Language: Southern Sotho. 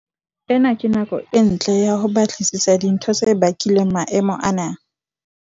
Ena ke nako e ntle ya ho batlisisa dintho tse bakileng maemo ana.